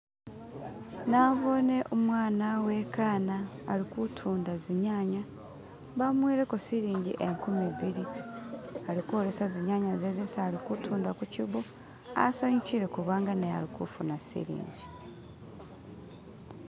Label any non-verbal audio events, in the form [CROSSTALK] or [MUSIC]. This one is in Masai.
"[SKIP]" nabone umwana wekana alikutunda zinyanya bamuweleko silingi nkumi bili alikwolesa zinyanya ze zesialikutunda kukyibo asanyukile kubanga naye alikufuna silingi